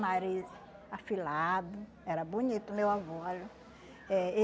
Nariz afilado, era bonito, meu avô. Eh